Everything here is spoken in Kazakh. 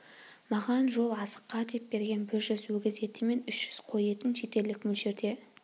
маған жол азыққа деп берген бір жүз өгіз еті мен үш жүз қой етін жетерлік мөлшерде